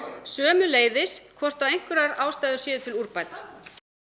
sömuleiðis hvort einhverjar ástæður séu til úrbóta